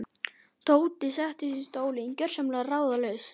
Tóti settist í stól, gjörsamlega ráðalaus.